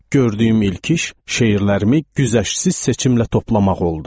Gördüyüm ilk iş şeirlərimi güzəştsiz seçim ilə toplamaq oldu.